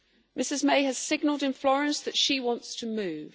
Ms May has signalled in Florence that she wants to move.